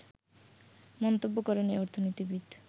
মন্তব্য করেন এ অর্থনীতিবিদ